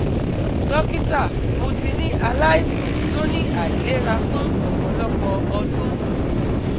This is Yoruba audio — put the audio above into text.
Dókítà, mo ti ní aláìsàn tó ní àìlera fún ọ̀pọ̀lọpọ̀ ọdún